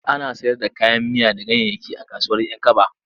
Ana sayar da kayan miya da ganyayyaki a kasuwar 'Yankaba.